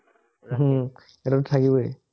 উম সেটোতো থাকিবই